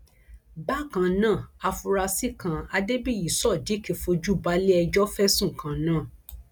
bákan náà àfúráṣí kan adébíyí sodiq fojú balẹẹjọ fẹsùn kan náà